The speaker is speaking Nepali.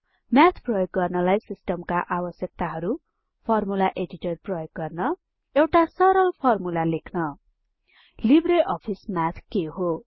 म्याथ प्रयोग गर्नलाई सिस्टमका आवश्यकताहरु फर्मुला एडिटर प्रयोग गर्न एउटा सरल फर्मुला लेख्न लिब्रे अफिस म्याथ के हो160